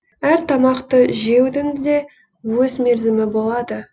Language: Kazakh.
әр тамақты жеудің де өз мерзімі болады